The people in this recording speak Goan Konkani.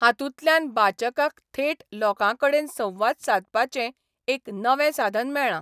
हातूंतल्यान बाचकाक थेट लोकांकडेन संवाद सादपाचें एक नवें साधन मेळ्ळां.